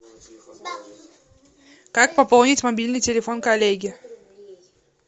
как пополнить мобильный телефон коллеги